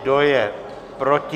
Kdo je proti?